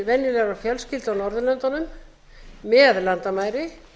líf venjulegrar fjölskyldu á norðurlöndunum með landamæri